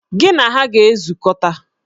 Gị na ha ga-ezukọta!